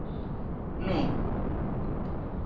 Nú